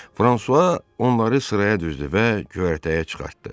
Fransua onları sıraya düzdü və göyərtəyə çıxartdı.